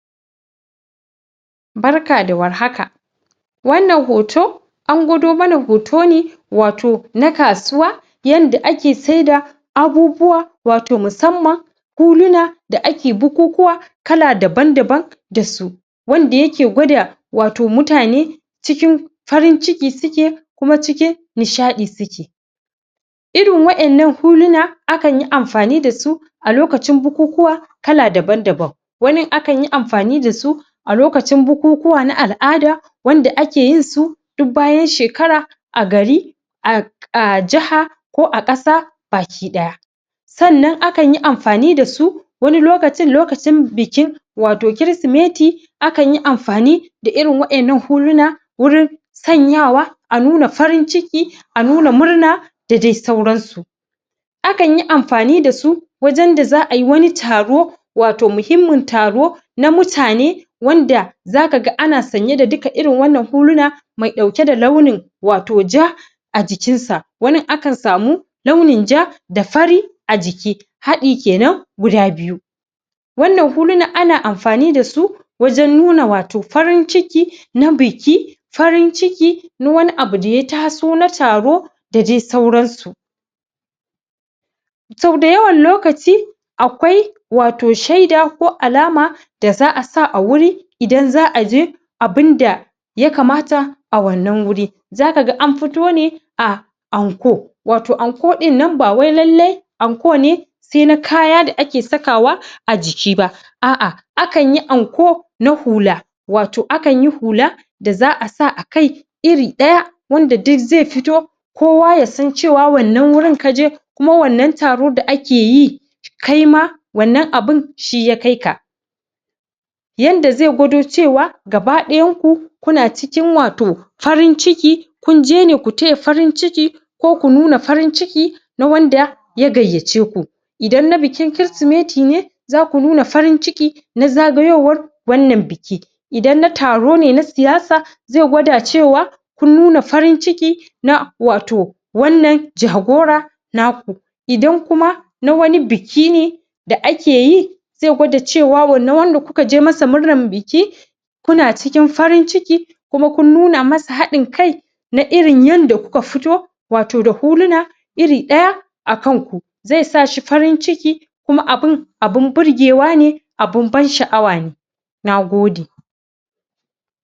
Barka da warhaka wannan hoto an gwado mana hoto ne wato na kasuwa yanda ake saida abubuwa wato masamman huluna da ake bukukuwa kala daban daban da su wanda ya ke gwada wato mutane cikin farin ciki suke kuma cikin nisha'i suke irin wa'en nan huluna a kan yi amfani da su a lokacin bukukuwa kala daban daban wanin akan yi amfani da su a lokacin bukukuwa na al'ada wanda ake yin su duk bayan shekara a gari a a jaha ko a qasa baki daya sannan akan yi amfani da su wani lokacin, lokacin bikin wato chrismeti a kan yi amfani da irin wa'en nan huluna wurin sanyawa a nuna farin ciki a nuna murna da dai sauran su akan yi amfani da su wajen da za ayi wani taro wato muhimman taro na mutane wanda za ka gan ana sanya da duka irin wannan huluna mai dauke da launin wato ja a jikin sa wanin akan samu launin ja da fari a jiki hadi kenan guda biyu wannan huluna ana amfani da su wajen nuna wato farin ciki na biki farin ciki na wani abu da ya taso na taro da dai sauran su so dayawan lokaci akwai wato shaida ko alama da za a sa a wuri idan za a je abun da ya kamata a wannan wuri za ka ga an fito ne a anko wato anko din nan ba wai lailai anko ne sai na kaya da ake saka wa a jiki ba ah ah, a kan yi anko na hula wato akan yi hula da za a sa a kai iri daya wanda duk zai fito kowa ya san cewa wannan wurin ka je kuma wannan taro da ake yi kai ma wannan abun shi ya kai ka yanda zai gwado cewa gabadayan ku ku na cikin wato farin ciki kun je ne, ku taya farin ciki ko ku nuna farin ciki na wanda ya gayace ku idan na bikin chrismeti ne za ku nuna farin ciki na zagayowar wannan biki idan na taro ne, na siyasa zai gwada cewa kun nuna farin ciki na wato wannan jagora naku idan kuma na wani biki ne da ake yi zai gwada cewa, wannan wanda kuka je masa murnan biki kuna cikin farin ciki kuma kun nuna masa hadin kai na irin yanda kuka fito wato da huluna iri daya a kan ku zai sa shi farin ciki kuma abun abun burgewa ne abun ban sha'awa ne na gode